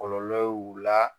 Kɔlɔlɔ ye u la